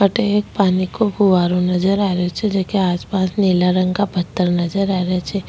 अठे एक पानी का फुहाराे नजर आ रहियो छे जेके आसपास नीला रंग का पत्थर नजर आ रिया छे।